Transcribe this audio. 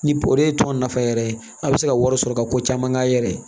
Ni o de ye tɔn nafa yɛrɛ ye a bɛ se ka wari sɔrɔ ka ko caman k'a yɛrɛ ye